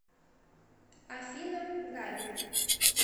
афина габи